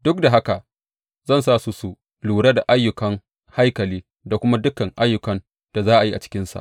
Duk da haka zan sa su su lura da ayyukan haikali da kuma dukan ayyukan da za a yi a cikinsa.